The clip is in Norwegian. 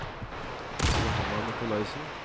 Johanna Nicolaisen